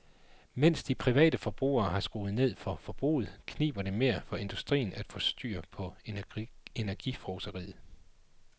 Mens de private forbrugere har skruet ned for forbruget, kniber det mere for industrien at få styr på energifrådseriet.